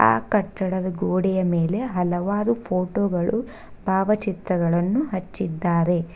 ಆ ಕಟ್ಟಡದ ಗೋಡೆಯ ಮೇಲೆ ಹಲವಾರು ಫೋಟೋ ಗಳು ಭಾವಚಿತ್ರಗಳನ್ನು ಹಚ್ಚಿದ್ದಾರೆ.